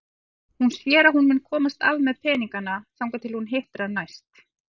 Hún sér að hún mun komast af með peningana þangað til hún hittir hann næst.